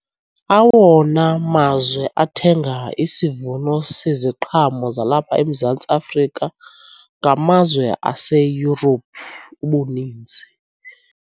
Awona mazwe athenga isivuno seziqhamo zalapha eMzantsi Afrika ngamazwe aseYurophu ubuninzi.